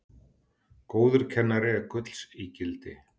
Góður kennari er gulls ígildi.